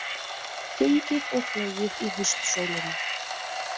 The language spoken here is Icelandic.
Gengið og flogið í haustsólinni